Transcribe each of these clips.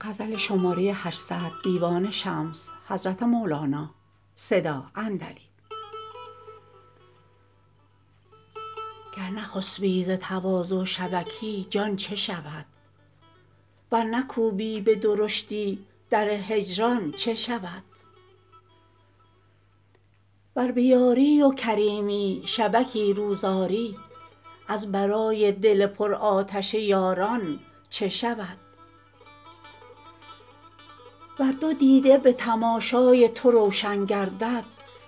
گر نخسبی ز تواضع شبکی جان چه شود ور نکوبی به درشتی در هجران چه شود ور به یاری و کریمی شبکی روز آری از برای دل پرآتش یاران چه شود ور دو دیده به تماشای تو روشن گردد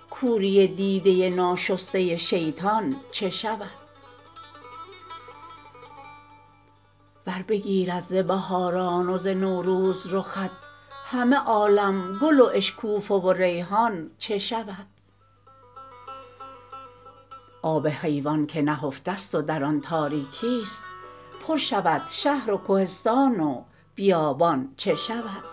کوری دیده ناشسته شیطان چه شود ور بگیرد ز بهاران و ز نوروز رخت همه عالم گل و اشکوفه و ریحان چه شود آب حیوان که نهفته ست و در آن تاریکیست پر شود شهر و کهستان و بیابان چه شود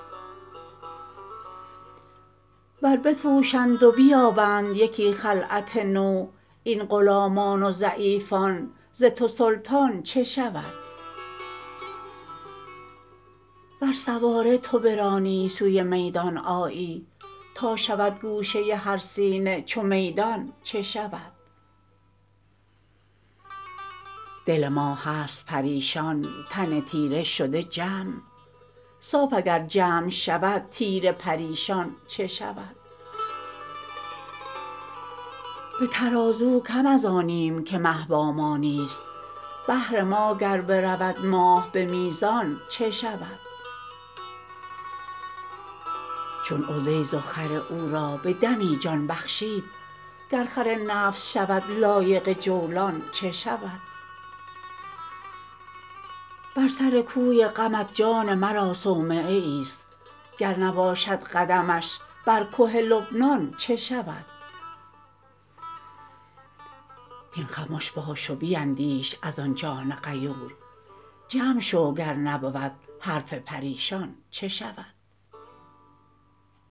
ور بپوشند و بیابند یکی خلعت نو این غلامان و ضعیفان ز تو سلطان چه شود ور سواره تو برانی سوی میدان آیی تا شود گوشه هر سینه چو میدان چه شود دل ما هست پریشان تن تیره شده جمع صاف اگر جمع شود تیره پریشان چه شود به ترازو کم از آنیم که مه با ما نیست بهر ما گر برود ماه به میزان چه شود چون عزیر و خر او را به دمی جان بخشید گر خر نفس شود لایق جولان چه شود بر سر کوی غمت جان مرا صومعه ایست گر نباشد قدمش بر که لبنان چه شود هین خمش باش و بیندیش از آن جان غیور جمع شو گر نبود حرف پریشان چه شود